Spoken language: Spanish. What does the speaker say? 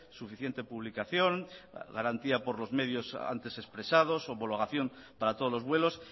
suficiente publicación garantía por los medios antes expresados homologación para todos los vuelos